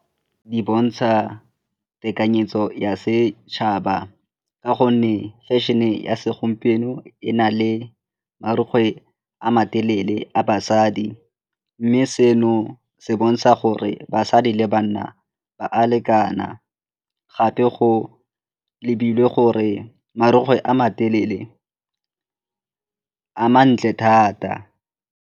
Di bontsha tekanyetso ya setšhaba ka gonne fashion-e ya segompieno e na le marukgwe a matelele a basadi mme seno se bontsha gore basadi le banna ba a lekana gape go lebilwe gore marukgwe a matelele a mantle thata.